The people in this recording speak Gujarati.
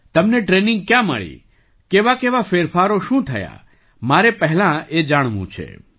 તમને ટ્રેનિંગ ક્યાં મળી કેવાકેવા ફેરફારો શું થયા મારે પહેલા એ જાણવું છે